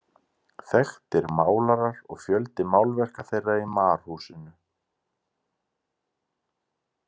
Þekktir málarar og fjöldi málverka þeirra í Marhúsinu.